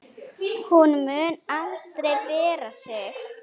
Hún mun aldrei bera sig.